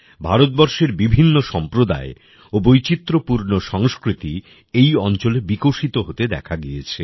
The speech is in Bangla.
ভারতবর্ষের বিভিন্ন সম্প্রদায় ও বৈচিত্র্যপূর্ণ সংস্কৃতি এই অঞ্চলে বিকশিত হতে দেখা গিয়েছে